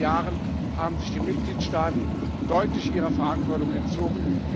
In den letzten Jahren haben sich die Mitgliedstaaten deutlich ihrer Verantwortung entzogen.